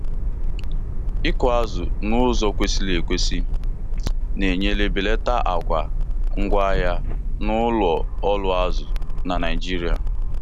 ịkụ azụ n'uzọ kwesịrị ekwesị Na-enyere belata àgwà ngwaahịa n'ụlọ ọrụ azụ na Naijiria